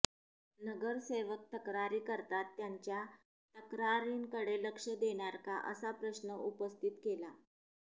नगरसेवक तक्रारी करतात त्यांच्या तक्रारींकडे लक्ष देणार का असा प्रश्न उपस्थित केला